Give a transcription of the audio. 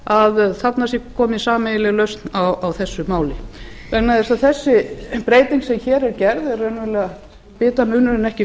að þarna sé komin sameiginleg lausn á þessu máli vegna þess að þessi breyting sem þarna er gerð er raunverulega bitamunur en ekki